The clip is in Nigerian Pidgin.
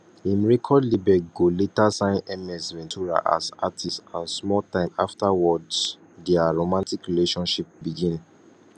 im record label go later sign ms ventura as artist and small time afterwards dia romantic relationship begin